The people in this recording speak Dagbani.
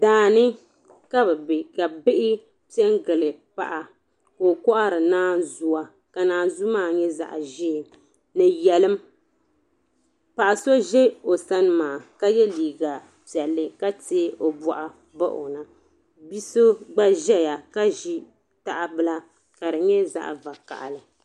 Daa ni ka bɛ be ka bihi pe n-gili paɣa ka o kɔhiri naanzua ka naanzua maa nyɛ zaɣ' ʒee ni yɛlim. Paɣa so za o sani maa ka ye liiga piɛlli ka teei o bɔɣu bahi o na. Bi' so gba zaya ka ʒi tahabila ka di nyɛ zaɣ' vakahili.